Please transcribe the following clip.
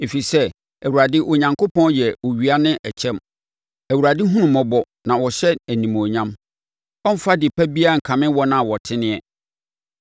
Ɛfiri sɛ Awurade Onyankopɔn yɛ owia ne ɛkyɛm; Awurade hunu mmɔbɔ na ɔhyɛ animuonyam; ɔremfa ade pa biara nkame wɔn a wɔteneɛ.